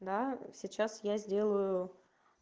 да сейчас я сделаю